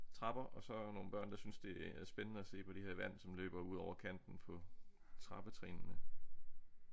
Trapper og så nogle børn der synes det er spændende at se på det her vand som løber ud over kanten på trappetrinene